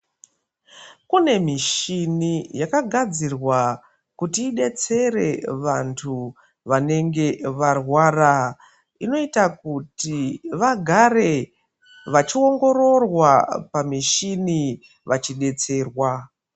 Kune mishini yakagadzirwa kuti ibetsere vantu vanenge varwara . Inoita kuti vagare vachiongororwa pamishini vachibetserwa.